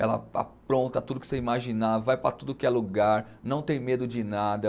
Ela a apronta tudo que você imaginar, vai para tudo que é lugar, não tem medo de nada.